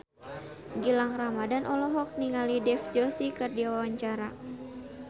Gilang Ramadan olohok ningali Dev Joshi keur diwawancara